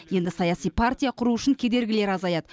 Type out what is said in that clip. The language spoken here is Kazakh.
енді саяси партия құру үшін кедергілер азаяды